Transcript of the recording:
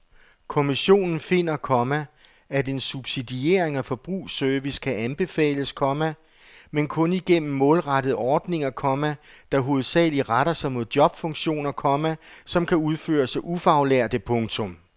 Kommissionen finder, komma at en subsidiering af forbrugsservice kan anbefales, komma men kun igennem målrettede ordninger, komma der hovedsageligt retter sig mod jobfunktioner, komma som kan udføres af ufaglærte. punktum